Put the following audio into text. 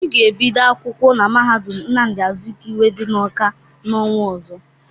Obi ga-ebido akwụkwọ na mahadum Nnamdị Azikiwe dị n'Ọka n'ọnwa ọzọ.